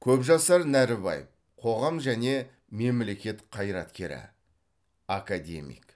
көпжасар нәрібаев қоғам және мемлекет қайраткері академик